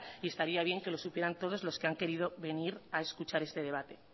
y estaría bien que lo supieran todos lo que han querido venir a escuchar este debate